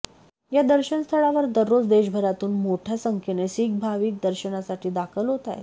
या दर्शनस्थळावर दररोज देशभरातून मोठ्या संख्येने शीख भाविक दर्शनासाठी दाखल होत आहेत